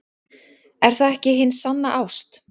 Er það ekki hin sanna ást?